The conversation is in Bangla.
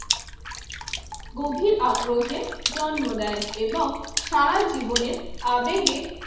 কোভিদ আগ্রহের জন্ম দেয় এবং সারা জীবনের আবেগের